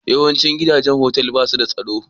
Yawancin gidajen otal ba su da tsaro?